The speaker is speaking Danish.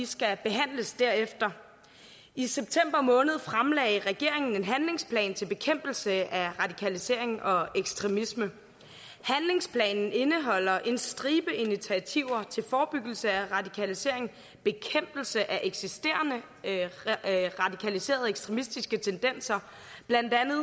skal behandles derefter i september måned fremlagde regeringen en handlingsplan til bekæmpelse af radikalisering og ekstremisme handlingsplanen indeholder en stribe initiativer til forebyggelse af radikalisering bekæmpelse af eksisterende radikaliserede ekstremistiske tendenser blandt andet